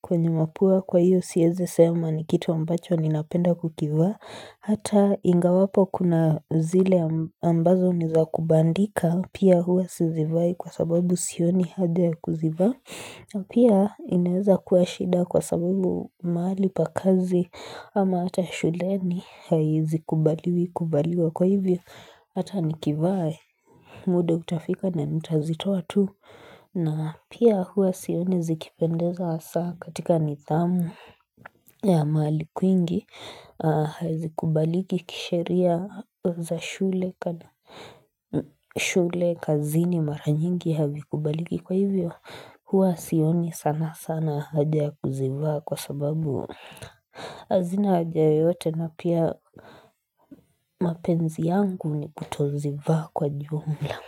kwenye mapua kwa iyo siweze sema ni kitu ambacho ni napenda kukivaa. Hata ingawapo kuna zile ambazo niza kubandika, pia hua sizivai kwa sababu sioni hadia kuzivai na pia ineza kuwa shida kwa sababu mahali pa kazi ama hata shuleni haizi kubaliwa kwa hivyo Hata nikivaa muda hutafika na nitazitoa tu na pia hua sioni zikipendeza asa katika nidhamu ya mahali kwingi hazikubaliki kisheria za shule shule kazini mara nyingi havikubaliki kwa hivyo hua sioni sana sana haja kuzivaa kwa sababu hazina haja yote na pia mapenzi yangu ni kutozivaa kwa jumla.